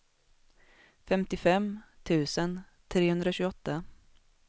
femtiofem tusen trehundratjugoåtta